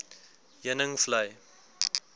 heuningvlei